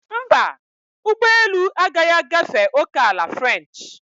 Mba, ụgbọ elu agaghị agafe ókèala french.